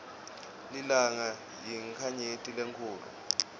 lilanga yinkhanyeti lenkhulu